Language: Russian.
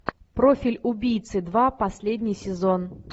профиль убийцы два последний сезон